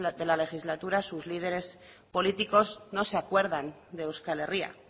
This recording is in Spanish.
de la legislatura sus líderes políticos no se acuerdan de euskal herria